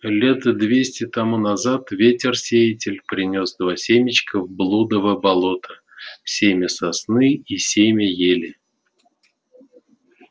лет двести тому назад ветер-сеятель принёс два семечка в блудово болото семя сосны и семя ели